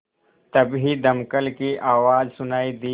तभी दमकल की आवाज़ सुनाई दी